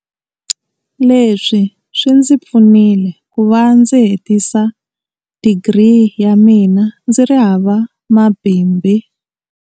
Leswi swi ndzi pfunile ku va ndzi hetisa digiri ya mina ndzi ri hava mabibi.